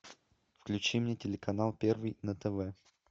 включи мне телеканал первый на тв